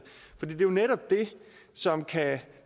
for det er jo netop det som kan